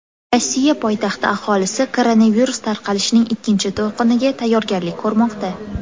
Rossiya poytaxti aholisi koronavirus tarqalishining ikkinchi to‘lqiniga tayyorgarlik ko‘rmoqda.